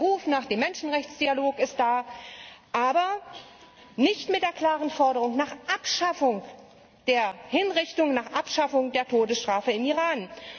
Der Ruf nach dem Menschenrechtsdialog ist da, aber nicht verbunden mit der klaren Forderung nach Abschaffung der Hinrichtungen, nach Abschaffung der Todesstrafe im Iran.